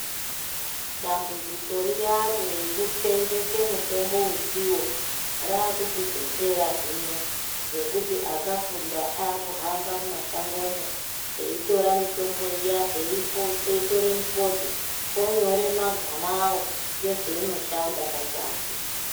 Dambudziko riyani rekuseenzese mitombo usiwo rakuchizopera hino nekuti akafunda akuhamba mumashango umo eitora mitombo iya eitora mifodho kwakunyora magama ayo nezvainoshanda padzasi.